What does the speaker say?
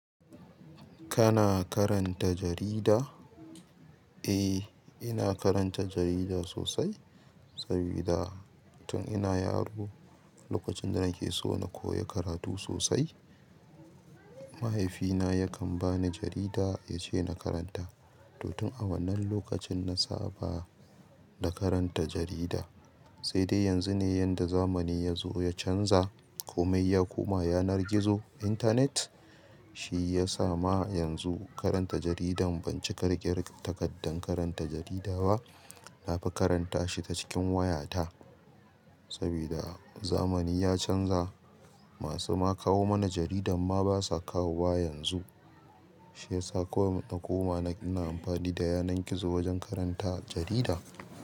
Kana karanta jarida? Eh, ina karanta jarida sosai. Saboda tun ina yaro, lokacin da nake so na koyi karatu sosai, mahaifina yakan bani jarida yace na karanta. To tun a wannan lokacin na saba da karanta jarida. Sai dai yanzu ne yadda zamani ya zo ya canza. Komai ya koma yanar gizo, internet. Shi ya sa ma yanzu karanta jaridan ban cika riƙe takaddan karanta jarida ba. Na fi karanta shi ta cikin wayata. Saboda zamani ya canza. Masu ma kawo mana jaridan ma basa kawo ba yanzu. Shiyasa kawai na koma ina amfani da yanar gizo wajen karanta jarida.